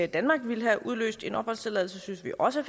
i danmark ville have udløst en opholdstilladelse synes vi også